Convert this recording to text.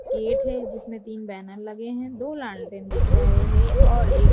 gate है जिसमें तीन बैनर लगे हैं दो लालटेन दिख रहे हैं और एक --